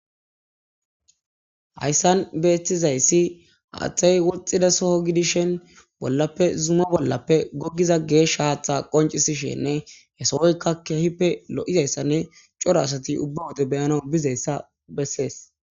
hayssan beethizayssi haaththay woxxida soho gidishen bollappe zuma bollappe gogiza geesh haaththa qoncisishenne he sohoykka keehippe lo'izayssanne cora asati ubba wode beyana bizayssa bessees